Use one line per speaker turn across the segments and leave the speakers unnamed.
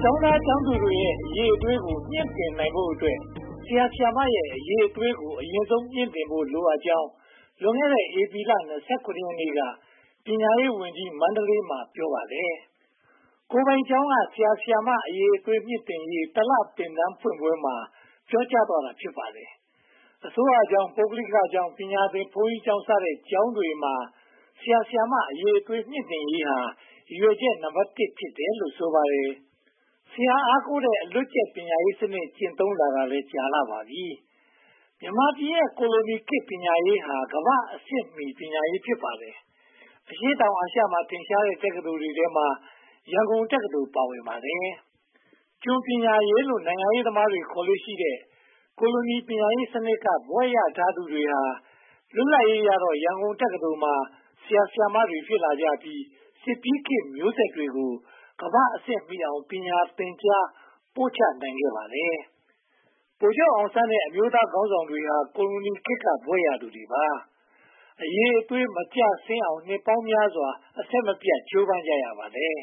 ကျောင်းသားတွေရဲ့ အရည်အသွေးကို မြှင့်တင်နိုင်ဖို့အတွက် ဆရာ၊ ဆရာမတွေရဲ့ အရည်အသွေးကို အရင်ဆုံး မြှင့်တင်ဖို့ လိုအပ်ကြောင်း လွန်ခဲ့တဲ့ ဧပြီလ (၂၇) ရက်နေ့က ပညာရေးဝန်ကြီးက မန္တလေးမှာ ပြောပါတယ်။ ကိုယ်ပိုင်ကျောင်းက ဆရာ၊ ဆရာမ အရည်အသွေး မြှင့်တင်ရေး (၁) လ သင်တန်းဖွင့်ပွဲမှာ ပြောကြားသွားတာ ဖြစ်ပါတယ်။ အစိုးရကျောင်း၊ ပုဂ္ဂလိကကျောင်း၊ ပညာသင်ဘုန်းကြီးကျောင်းစတဲ့ ကျောင်းတွေမှာ ဆရာ၊ ဆရာမတွေ အရေအသွေး မြှင့်တင်ရေးဟာ ရည်ရွယ်ချက် နံပတ် (၁) ဖြစ်တယ်လို့ ဆိုပါတယ်။ ဆရာအားကိုးတဲ့ အလွတ်ကျက်ပညာရေးစနစ် ကျင့်သုံးလာတာကြာပြီ ဖြစ်ပါတယ်။ မြန်မာပြည်ရဲ့ ကိုလိုခေတ်ပညာရေးဟာ ကမ္ဘာ့အဆင့်မီ ပညာရေး ဖြစ်ပါတယ်။ အရှေ့တောင်အာရှမှာ ထင်ရှားတဲ့ တက္ကသိုလ်တွေထဲမှာ ရန်ကုန်တက္ကသိုလ် ပါဝင်ပါတယ်။ ကျွန်ပညာရေးလို့ နိုင်ငံရေးသမားတွေ ခေါ်လေ့ရှိတဲ့ ကိုလိုနီပညာရေးစနစ်က ဘွဲ့ရသူတွေဟာ လွတ်လပ်ရေးရတော့ ရန်ကုန်တက္ကသိုလ်မှာ ဆရာတွေ ဖြစ်လာကြပြီး စစ်ပြီးခေတ်မျိုးဆက်ကို ကမ္ဘာ့အဆင့်မီအောင် သင်ကြားပို့ချနိုင်ခဲ့ပါတယ်။ ဗိုလ်ချုပ်အောင်ဆန်းနဲ့ အမျိုးသားခေါင်းဆောင်တွေဟာ ကိုလိုနီခေတ်က ဘွဲ့ရသူတွေပါ။ အရည်အသွေး မကျဆင်းအောင် နှစ်ပေါင်းများစွာ အဆက်မပြတ် ကြိုးပမ်းကြရပါတယ်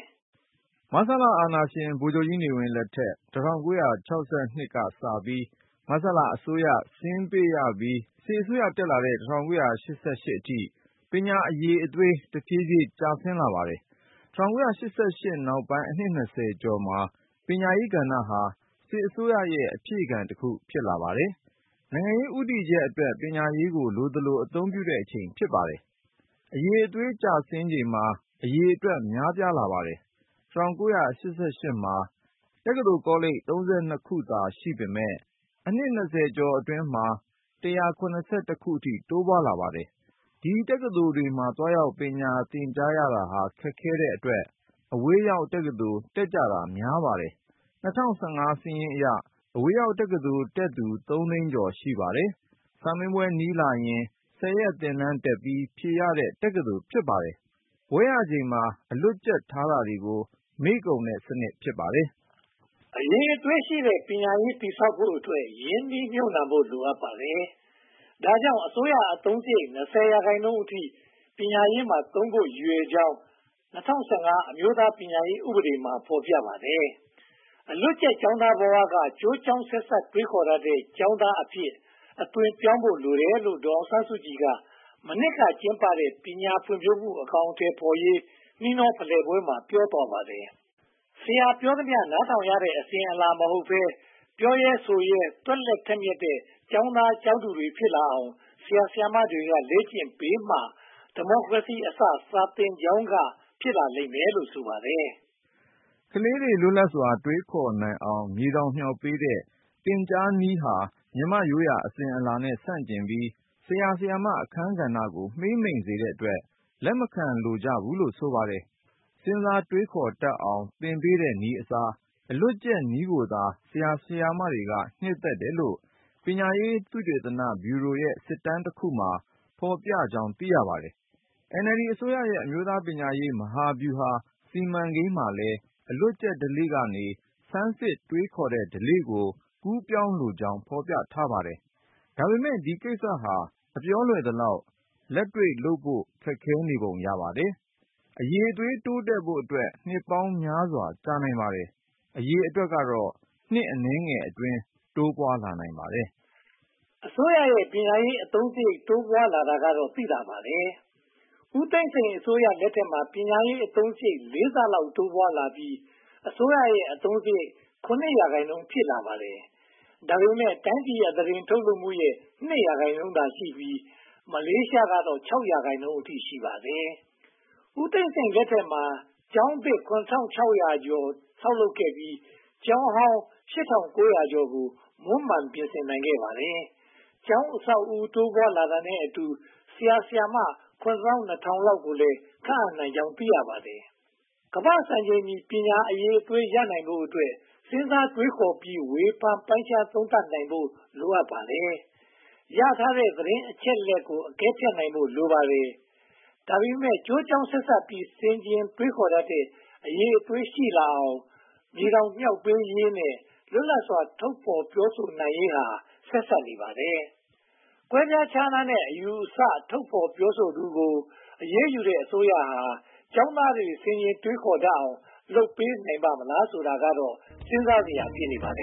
။ မဆလအာဏာရှင် ဗိုလ်ချုပ်ကြီးနေဝင်းလက်ထက် ၁၉၆၂ ခုနှစ်ကစပြီး မဆလအစိုးရ ဆင်းပေးပြီး စစ်အစိုးရ တက်လာတဲ့ ၁၉၈၈ ခုနှစ်အထိ ပညာအရည်အသွေး တဖြည်းဖြည်း ကျဆင်းလာပါတယ်။ ၁၉၈၈ နောက်ပိုင်းအနှစ် (၂၀) ကျော်မှာ ပညာရေးကဏ္ဍဟာ စစ်အစိုးရရဲ့ အဖြည့်ခံတခု ဖြစ်လာပါတယ်။ နိုင်ငံရေး ဦးတည်ချက်အတွက် ပညာရေးကို လိုသလို အသုံးပြုတဲ့အချိန် ဖြစ်ပါတယ်။ အရည်အသွေး ကျဆင်းချိန်မှာ အရေအတွက် များပြားလာပါတယ်။ ၁၉၈၈ မှာ တက္ကသိုလ်ကောလိပ် (၃၂) ခုသာ ရှိပေမယ့် အနှစ် (၂၀) ကျော်အတွင်းမှာ (၁၇၁) ခုအထိ တိုးပွားလာပါတယ်။ ဒီတက္ကသိုလ်တွေမှာ သွားရောက်သင်ကြားရတာ ခက်ခဲတဲ့အတွက်၊ အဝေးရောက်တက္ကသိုလ်တွေ တက်ကြတာများပါတယ်။ ၂၀၁၅ စာရင်းအရ အဝေးရောက်တက္ကသိုလ်တက်သူ သုံးသိန်းကျော် ရှိပါတယ်။ စာမေးပွဲနီးလာရင် ဆယ်ရက်သင်တန်းတက်ပြီး ဖြေရတဲ့ တက္ကသိုလ် ဖြစ်ပါတယ်။ ဘွဲ့ရချိန်မှာ အလွတ်ကျက်ထားတာတွေ မေ့ကုန်တဲ့စနစ် ဖြစ်ပါတယ်
။ အရည်အသွေးရှိတဲ့ ပညာရေး တည်ဆောက်ဖို့အတွက် ရင်းနှီးမြုပ်နံှမှု လိုအပ်ပါတယ်။ ဒါကြောင့် အစိုးရအသုံးစရိတ် (၂၀) ရာခိုင်နှုန်းအထိ ပညာရေးမှာသုံးဖို့ ရည်ရွယ်ကြောင်း၊ ၂၀၁၅ အမျိုးသားပညာရေးဥပဒေမှာ ဖော်ပြထားပါတယ်။ အလွတ်ကျက်ကျောင်းသားဘဝကနေ ကျိုးကြောင်းဆက်စပ်တွေးခေါ်တတ်တဲ့ ကျောင်းသားအဖြစ် အသွင်းပြောင်းဖို့ လိုတယ်လို့ ဒေါ်အောင်ဆန်းစုကြည်က မနှစ်ကကျင်းပတဲ့ ပညာဖွံ့ဖြိုးမှု အကောင်အထည်ဖော်ရေး နှီးနှောဖလှယ်ပွဲမှာ ပြောပါတယ်။ ဆရာပြောသမျှ နားထောင်ရတဲ့ အစဉ်အလာ မဟုတ်ဘဲ၊ ပြောရဲဆိုရဲ သွက်လက်ထက်မြတ်တဲ့ ကျောင်းသားကျောင်းသူတွေ ဖြစ်လာအောင် ဆရာ၊ ဆရာမတွေက လေ့ကျင့်ပေးမှ ‘ဒီမိုကရေစီအစ စာသင်ကျောင်းက’ ဖြစ်လာပါလိမ့်မယ်လို့ ဆိုပါတယ်
။ ကလေးတွေ လွတ်လပ်စွာ တွေးခေါ်နိုင်အောင် မြေတောင်မြှောက်ပေးတဲ့ သင်ကြားနည်းဟာ မြန်မာ့ရိုးရာအစဉ်အလာနဲ့ ဆန့်ကျင်ပြီး ဆရာ၊ ဆရာမအခန်းကဏ္ဍကို မှေးမှိန်စေတဲ့အတွက် လက်မခံကြဘူးလို့ ဆိုပါတယ်။ စဉ်းစားတွေးခေါ်တတ်အောင် သင်ပေးတဲ့နည်းအစား အလွတ်ကျက်နည်းကိုသာ ဆရာ၊ ဆရာမတွေက နှစ်သက်တယ်လို့ ပညာရေးသုတေသနဗျူရိုရဲ့ စစ်တမ်းတခုမှာ ဖော်ပြထားကြောင်း သိရပါတယ်။ NLD အစိုးရရဲ့ အမျိုးသားပညာရေး မဟာဗျူဟာစီမံကိန်းမှာလည်း အလွတ်ကျက်ဓလေ့ကနေ ဆန်းစစ်တွေးခေါ်တဲ့ဓလေ့ကို ကူးပြောင်းဖို့လိုကြောင်း ဖော်ပြထားပါတယ်။ ဒါပေမဲ့ ဒီကိစ္စက အပြောလွယ်သလောက် လက်တွေ့လုပ်ဖို့ ခက်ခဲပုံ ရပါတယ်။ အရည်အသွေး တိုးတက်ဖို့အတွက် နှစ်ပေါင်းများစွာ ကြာနိုင်ပါတယ်။ အရေအတွက်ကတော့ နှစ်အနည်းငယ်အတွင်း တိုးပွားလာနိုင်ပါတယ်
။ အစိုးရရဲ့ ပညာရေးအသုံးစရိတ် တိုးပွားလာတာကတော့ သိသာပါတယ်။ ဦးသိန်းစိန်အစိုးရလက်ထက်မှာ ပညာရေးအသုံးစရိတ် လေးဆလောက် တိုးပွားလာပြီး အစိုးရအသုံးစရိတ်ရဲ့ (၇) ရာခိုင်နှုန်း ဖြစ်လာပါတယ်။ ဒါပေမဲ့ တိုင်းပြည်အသားတင်ထုတ်လုပ်မှုရဲ့ (၂) ရာခိုင်နှုန်းသာရှိပြီး မလေးရှားကတော့ (၆) ရာခိုင်နှုန်း ရှိပါတယ်။ ဦးသိန်းစိန်လက်ထက်မှာ ကျောင်းသစ် (၇၆၁၆) ဆောက်လုပ်နိုင်ခဲ့ပြီး ကျောင်းဟောင်း (၈၉၄၅) ကို မွမ်းမံနိုင်ခဲ့ပါတယ်။ ကျောင်းအဆောက်အဦး တိုးပွားလာတာနဲ့အတူ ဆရာ၊ ဆရာမ (၇၂၀၀၀) လောက်ကိုလည်း ခန့်အပ်နိုင်ကြောင်း သိရပါတယ်။ ကမ္ဘာ့စံချိန်မီ ပညာအရည်အသွေးရနိုင်ဖို့အတွက် စဉ်းစားတွေးခေါ်ပြီး ဝေဖန်ပိုင်းခြားသုံးသပ်နိုင်ဖို့ လိုပါတယ်။ ရထားတဲ့ သတင်းအချက်အလက်တွေကို အကဲဖြတ်နိုင်ဖို့ လိုပါတယ်။ ဒါပေမဲ့ ကျိုးကြောင်းဆက်စပ်ပြီး ဆင်ခြင်တွေးခေါ်တတ်တဲ့ အရည်အသွေး ရှိလာအောင် မြေတောင်မြှောက်ပေးရေးနဲ့ လွတ်လပ်စွာ ထုတ်ဖော်ပြောဆိုနိုင်ရေးဟာ ဆက်စပ်နေပါတယ်။ ကွဲပြားခြားနားတဲ့ အယူအဆ ထုတ်ဖော်ပြောဆိုသူကို အရေးယူနေတဲ့ အစိုးရဟာ ကျောင်းသားတွေ ဆင်ခြင်တွေးခေါ်တတ်အောင် လုပ်ပေးနိုင်ပါ့မလားဆိုတာကတော့ စဉ်းစားစရာ ဖြစ်နေပါတယ်